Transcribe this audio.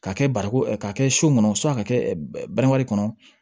K'a kɛ barako k'a kɛ so kɔnɔ a ka kɛ bananku kɔnɔ